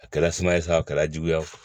A kɛra sumaya ye sa a kɛra juguya ye